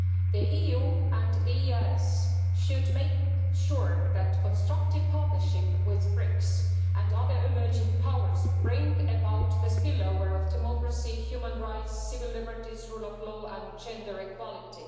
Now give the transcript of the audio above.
The EU and the EEAS should make sure that constructive partnership with BRICS and other emerging powers brings about the spill over of democracy, human rights, civil liberties, the rule of law and gender equality.